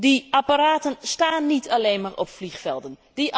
Die apparaten staan niet alleen maar op vliegvelden.